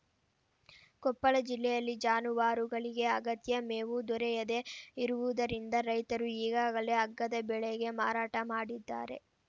ಕೊಪ್ಪಳ ಜಿಲ್ಲೆಯಲ್ಲಿ ಜಾನುವಾರುಗಳಿಗೂ ಅಗತ್ಯ ಮೇವು ದೊರೆಯದೇ ಇರುವುದರಿಂದ ರೈತರು ಈಗಾಗಲೇ ಅಗ್ಗದ ಬೆಲೆಗೆ ಮಾರಾಟ ಮಾಡಿದ್ದಾರೆ